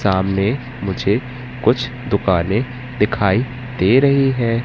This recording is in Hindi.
सामने मुझे कुछ दुकानें दिखाई दे रही हैं।